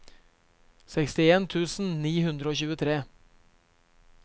sekstien tusen ni hundre og tjuetre